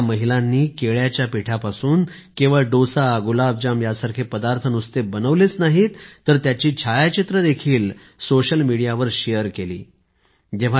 या महिलांनी केळ्याचा पिठापासून केवळ डोसा गुलाबजाम सारखे पदार्थ नुसते बनवले नाहीत तर त्याची छायाचित्रे देखील सोशल मीडियावर शेअर केली आहेत